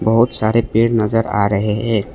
बहुत सारे पेड़ नजर आ रहे है।